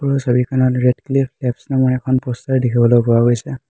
ওপৰৰ ছবিখনত Radcliffe Labs নামৰ এখন প'ষ্টাৰ দেখিবলৈ পোৱা গৈছে।